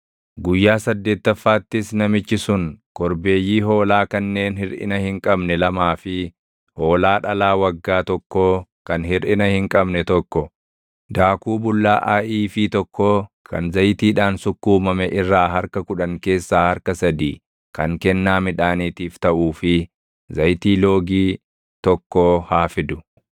“Guyyaa saddeettaffaattis namichi sun korbeeyyii hoolaa kanneen hirʼina hin qabne lamaa fi hoolaa dhalaa waggaa tokkoo kan hirʼina hin qabne tokko, daakuu bullaaʼaa iifii tokkoo kan zayitiidhaan sukkuumame irraa harka kudhan keessaa harka sadii kan kennaa midhaaniitiif taʼuu fi zayitii loogii tokkoo haa fidu.